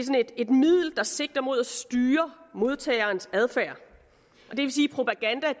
et middel der sigter mod at styre modtagerens adfærd